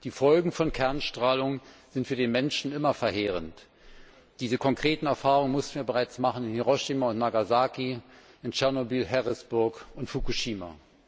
Die Folgen von Kernstrahlung sind für den Menschen immer verheerend! Diese konkreten Erfahrungen mussten wir bereits machen in Hiroshima und Nagasaki, in Tschernobyl, Harrisburg und Fukushima.